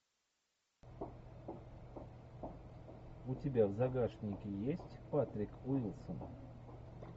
у тебя в загашнике есть патрик уилсон